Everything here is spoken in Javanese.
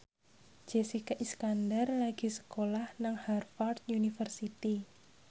Jessica Iskandar lagi sekolah nang Harvard university